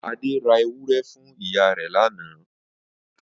Ade ra ewúrẹ́ fun iya re lana.